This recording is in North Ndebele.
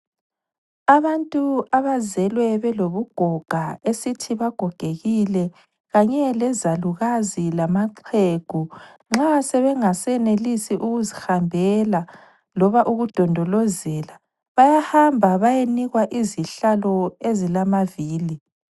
Abantu abazelwe belobugoga esithi bagogekile kanye lezalukazi lamaxhegu nxa sebengasenelisi ukuzihambela loba ukudondolozela bayamba bayenikwa izihlalo ezilamavili.